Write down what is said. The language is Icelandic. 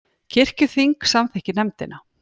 Kirkjuþing samþykkir nefndina